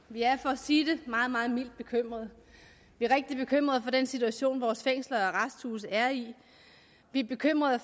vi er for at sige det meget meget mildt bekymrede vi er rigtig bekymrede over den situation vores fængsler og arresthuse er i vi er bekymrede